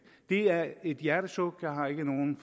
det er et hjertesuk jeg har ikke nogen